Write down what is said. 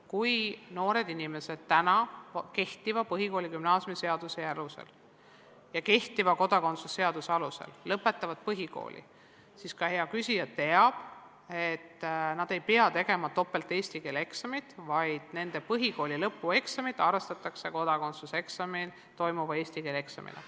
Kui noored inimesed praegu kehtivate põhikooli- ja gümnaasiumiseaduse ja kodakondsuse seaduse alusel lõpetavad põhikooli, siis, nagu hea küsija teab, nad ei pea tegema kahte eesti keele eksamit, vaid nende põhikooli lõpueksamit arvestatakse kodakondsuseksamil nõutava eesti keele eksamina.